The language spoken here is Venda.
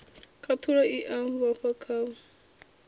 khathulo i a vhofha khavho